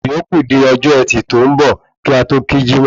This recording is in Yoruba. Ìyókù di ọjọ ẹtì tó ń bọ̀ kí a tó kí jímọ̀